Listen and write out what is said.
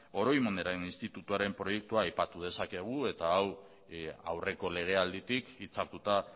oroimenen institutuaren proiektua aipatu dezakegu eta hau aurreko legealditik hitzartuta